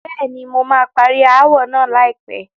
Bẹ́ẹ̀ni, mo máa parí ááwọ̀ náà láìpẹ́.